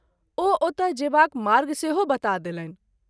ओ ओतय जेबाक मार्ग सेहो बता देलनि।